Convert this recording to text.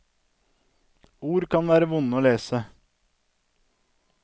Ord kan være vonde å lese.